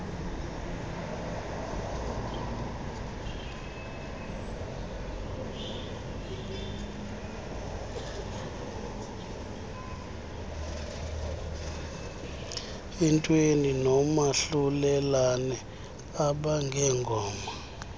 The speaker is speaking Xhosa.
entweni nomahlulelane abangengoma